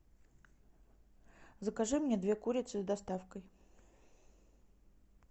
закажи мне две курицы с доставкой